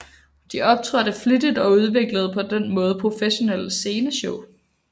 De optrådte flittigt og udviklede på den måde et professionelt sceneshow